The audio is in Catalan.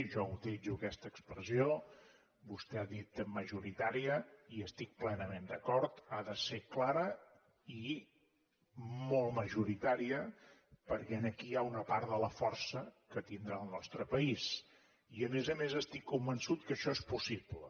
jo utilitzo aquesta expressió vostè ha dit majoritària hi estic plenament d’acord ha de ser clara i molt majoritària perquè aquí hi ha una part de la força que tindrà el nostre país i a més a més estic convençut que això és possible